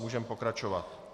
Můžeme pokračovat.